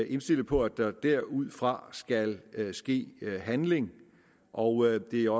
indstillet på at der derudfra skal ske handling og det er